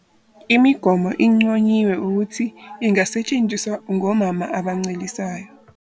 Imigomo inconyiwe ukuthi ingasetshenziswa ngomama abancelisayo.